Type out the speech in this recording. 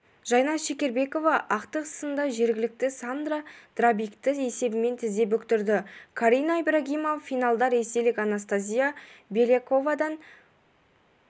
жайна шекербекова ақтық сында жергілікті сандра драбикті есебімен тізе бүктірді карина ибрагимова финалда ресейлік анастасия беляковадан